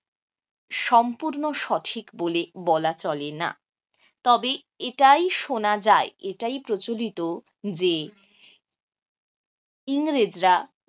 সম্পূর্ণ সঠিক বলে বলা চলে না তবে এটা ই শোনা যায় এটা ই প্রচলিত যে ইংরেজরা